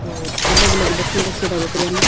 दो अलग अलग बर्तन रखयोड़ा है बकरिया ने।